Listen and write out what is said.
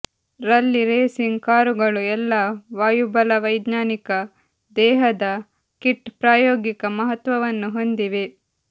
ರಲ್ಲಿ ರೇಸಿಂಗ್ ಕಾರುಗಳು ಎಲ್ಲಾ ವಾಯುಬಲವೈಜ್ಞಾನಿಕ ದೇಹದ ಕಿಟ್ ಪ್ರಾಯೋಗಿಕ ಮಹತ್ವವನ್ನು ಹೊಂದಿವೆ